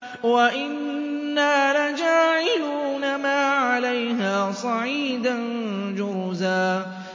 وَإِنَّا لَجَاعِلُونَ مَا عَلَيْهَا صَعِيدًا جُرُزًا